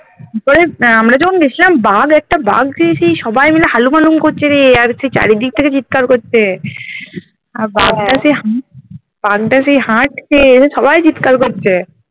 ওবারে আমরা যখন গিয়েছিলাম বাঘ একটা বাঘ যেই এসে সবাই মিলে হালুম হালুম করছে রে আর আর কি চারিদিকে চিৎকার করছে আর বাঘটাকে বাঘটা যে হাটছে সবাই চিৎকার করছে